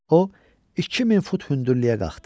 O 2000 fut hündürlüyə qalxdı.